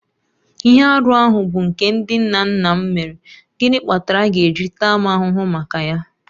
Ihe arụ ahụ bụ nke ndị nna nna m mere, gịnị kpatara a ga-eji taa m ahụhụ maka ya?